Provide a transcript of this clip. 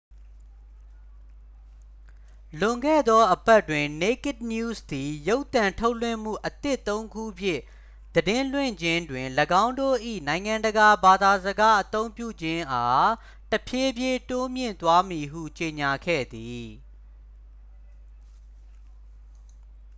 လွန်ခဲ့သော အပတ်တွင် naked news သည် ရုပ်သံထုတ်လွှင့်မှု အသစ် သုံး ခုဖြင့် သတင်းလွှင့်ခြင်းတွင် ၎င်းတို့၏ နိုင်ငံတကာဘာသာစကားအသုံးပြုခြင်းအား တဖြည်းဖြည်း တိုးမြှင့်သွားမည်ဟု ကြေညာခဲ့သည်